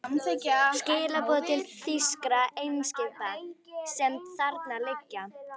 Skilaboð til þýskra eimskipa, sem þarna liggja.